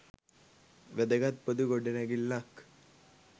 වැදගත් පොදු ගොඩනැගිල්ලක්.